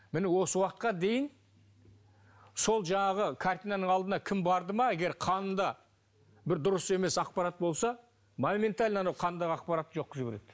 міне осы уақытқа дейін сол жаңағы картинаның алдына кім барды ма егер қанында бір дұрыс емес ақпарат болса моментально анау қандағы ақпаратты жоқ қылып жібереді